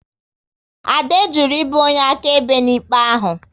Ade jụrụ ibu onye akaebe n'ikpe ahụ